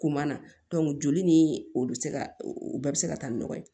Ko ma na joli ni o bɛ se ka o bɛɛ bɛ se ka taa ni nɔgɔ ye